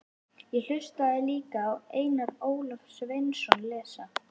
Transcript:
Ég hlustaði líka á Einar Ólaf Sveinsson lesa